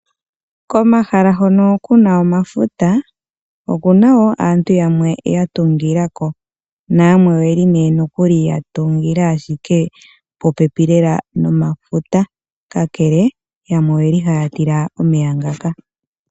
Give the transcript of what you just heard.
Komahala hono ku na omafuta, okuna wo aantu yamwe ya tungila ko. Na yamwe oyeli nee nokuli ya tungila ashike popepi lela nomafuta, kakele yamwe oyeli haya tila omeya ngaka.